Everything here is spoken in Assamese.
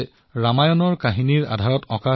ইয়াৰ দ্বাৰা তেওঁৰ গাঁৱৰ বাসিন্দাও সুখী হৈছে